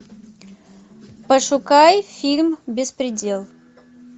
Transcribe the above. пошукай фильм беспредел